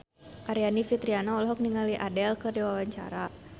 Aryani Fitriana olohok ningali Adele keur diwawancara